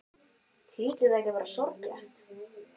Hlýtur það ekki að vera sorglegt?